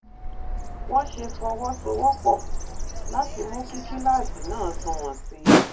wón ṣe fọwó sowó pò láti mú kí kíláàsì náà sunwòn sí i